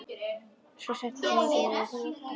Svo settistu á móti mér og við fórum að tala.